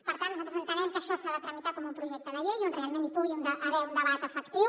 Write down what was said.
per tant nosaltres entenem que això s’ha de tramitar com un projecte de llei on realment hi pugui haver un debat efectiu